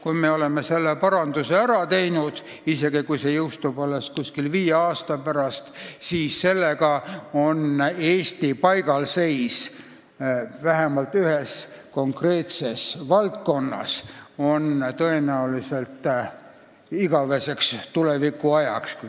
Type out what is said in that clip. Kui me oleme selle paranduse ära teinud, isegi kui see jõustub alles viie aasta pärast, siis oleks Eesti paigalseis vähemalt ühes konkreetses valdkonnas likvideeritud.